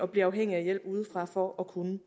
blive afhængige af hjælp udefra for at kunne